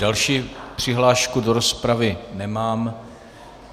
Další přihlášku do rozpravy nemám...